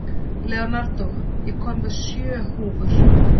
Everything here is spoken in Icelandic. Leonardo, ég kom með sjö húfur!